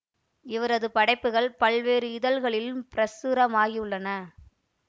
இவரது படைப்புகள் பல்வேறு இதழ்களிலும் பிரசுரமாகியுள்ளன